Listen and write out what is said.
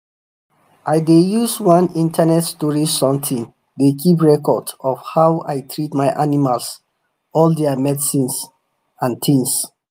i dey use one internet storage something dey keep record of how i treat my animals all their medicine and things.